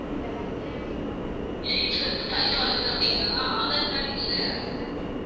age வந்து five ஆகுது அப்படிங்கறதுனால aadhar card இல்லை